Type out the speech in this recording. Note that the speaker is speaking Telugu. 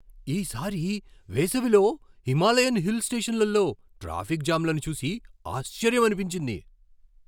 ఈ సారి వేసవిలో హిమాలయన్ హిల్ స్టేషన్లలో ట్రాఫిక్ జామ్లను చూసి ఆశ్చర్యమనిపించింది.